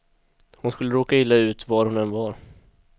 Hon skulle råka illa ut var hon än var.